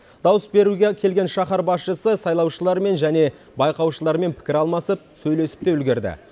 дауыс беруге келген шаһар басшысы сайлаушылармен және байқаушылармен пікір алмасып сөйлесіп те үлгерді